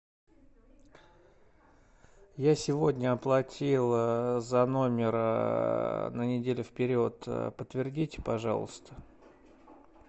я сегодня оплатил за номер на неделю вперед подтвердите пожалуйста